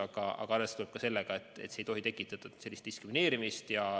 Aga arvestada tuleb ka sellega, et see ei tohi tekitada diskrimineerimist.